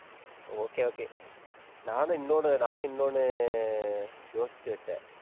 okay okay நானும் இன்னொன்னு நானும் இன்னொன்னு யோசிச்சு வச்சேன்.